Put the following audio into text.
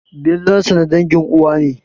Billansa na dangin uwa ne.